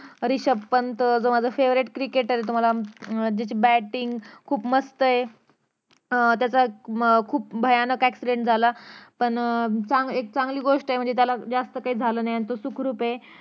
रिषभ पंत अं जो माझा favorite cricketer ये तुम्हाला अं त्याची bating खुप मस्त ये अं त्याचा अं खुप भयानक accident झाला पण अं चां एक चांगली गोष्ट ये म्हणजे त्याला जास्त काही झालं नाही तो सुखरूप ये